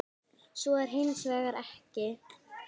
Svo er hins vegar ekki.